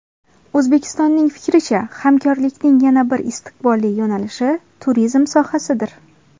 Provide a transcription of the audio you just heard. O‘zbekistonning fikricha, hamkorlikning yana bir istiqbolli yo‘nalishi turizm sohasidir.